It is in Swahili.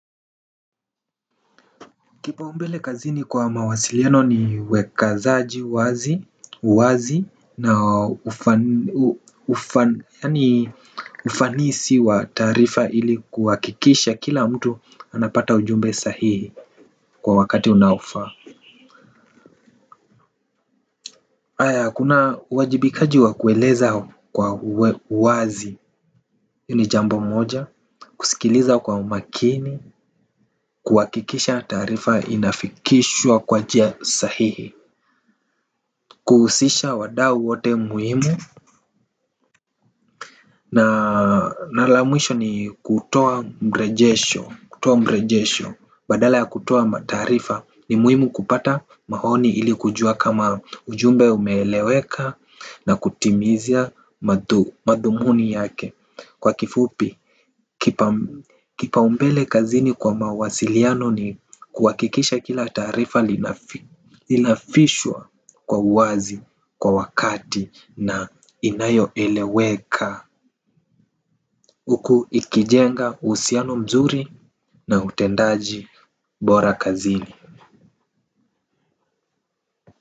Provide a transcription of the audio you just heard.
Kipaumbele kazini kwa mawasiliano ni wekazaji wazi na ufanisi wa taarifa ili kuhakikisha kila mtu anapata ujumbe sahihi kwa wakati unaofaa haya kuna uwajibikaji wa kueleza kwa wazi, ni jambo moja, kusikiliza kwa umakini, kuhakikisha taarifa inafikishwa kwa njia sahihi. Kuhusisha wadau wote muhimu na mara ya mwisho ni kutoa mrejesho. Badala ya kutoa mataarifa ni muhimu kupata maoni ili kujua kama ujumbe umeeleweka. Na kutimizia madhumuni yake. Kwa kifupi, kipaumbele kazini kwa mawasiliano ni kuhakikisha kila taarifa inafishwa kwa uwazi, kwa wakati na inayoeleweka huku ikijenga uhusiano mzuri na utendaji bora kazini.